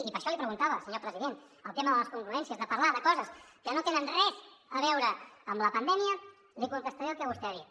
i per això li ho preguntava senyor president el tema de les congruències de parlar de coses que no tenen res a veure amb la pandèmia li contestaré el que vostè ha dit